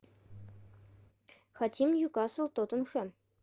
хотим ньюкасл тоттенхэм